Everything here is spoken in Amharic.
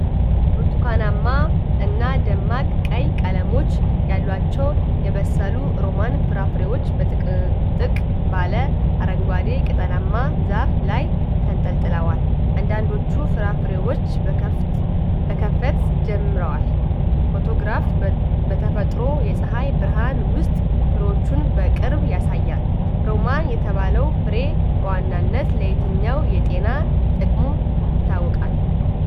ብርቱካንማና ደማቅ ቀይ ቀለሞች ያሏቸው የበሰሉ ሮማን ፍራፍሬዎች በጥቅጥቅ ባለ አረንጓዴ ቅጠላማ ዛፍ ላይ ተንጠልጥለዋል። አንዳንዶቹ ፍራፍሬዎች መከፈት ጀምረዋል፤ ፎቶግራፉ በተፈጥሮ የፀሐይ ብርሃን ውስጥ ፍሬዎቹን በቅርብ ያሳያል። ሮማን የተባለው ፍሬ በዋናነት ለየትኛው የጤና ጥቅሙ ይታወቃል?